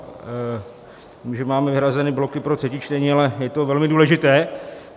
Vím, že máme vyhrazeny bloky pro třetí čtení, ale je to velmi důležité.